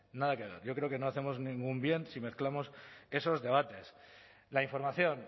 nada que ver yo creo que no hacemos ningún bien si mezclamos esos debates la información